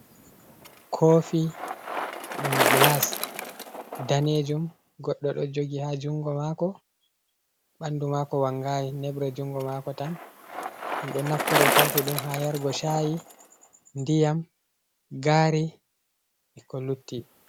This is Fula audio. Kofi ɗum glas danejum goɗdo ɗo jogi ha jungo mako ɓandu mako wangayi neɓre jungo mako tan ɗum ɗo naftoro kofi ɗum ha yargo shayi, ndiyam, gari e ko lutti.